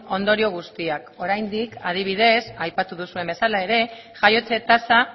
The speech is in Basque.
ondorio guztiak oraindik adibidez aipatu duzuen bezala ere jaiotze tasa